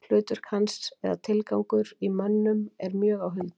Hlutverk hans eða tilgangur í mönnum er mjög á huldu.